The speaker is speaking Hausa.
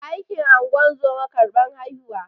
Aikin ingozuma karban haihuwa